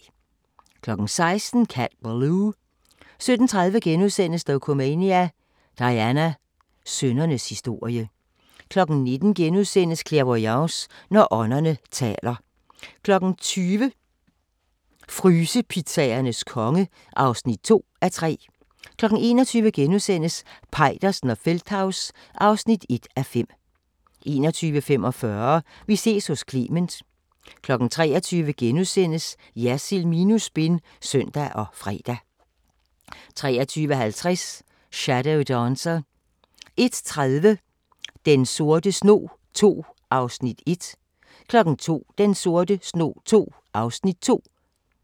16:00: Cat Ballou 17:30: Dokumania: Diana – sønnernes historie * 19:00: Clairvoyance – når ånderne taler * 20:00: Frysepizzaernes konge (2:3) 21:00: Peitersen og Feldthaus (1:5)* 21:45: Vi ses hos Clement 23:00: Jersild minus spin *(søn og fre) 23:50: Shadow Dancer 01:30: Den sorte snog II (1:6) 02:00: Den sorte snog II (2:6)